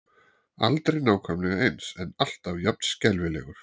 Aldrei nákvæmlega eins en alltaf jafn skelfilegur.